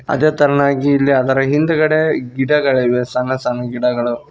ಅದೇ ತರನಾಗಿ ಇಲ್ಲಿ ಅದರ ಹಿಂದ್ಗಡೆ ಗಿಡಗಳಿವೆ ಸಣ್ಣ ಸಣ್ಣ ಗಿಡಗಳು.